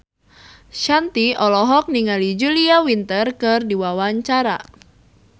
Shanti olohok ningali Julia Winter keur diwawancara